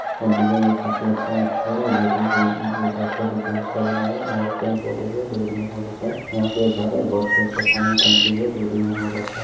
Design भी काफी अच्छा है स्कूल का गेट उट बहुत अच्छे से बोल कर बनाया हैयहाँ पेड़-पौधे भी हैं जो जगह बहुतअच्छा है यहाँ पर एक घर है घर के ऊपर पानी का टंकी भी है जो की डिजाइन बहुत अच्छा है।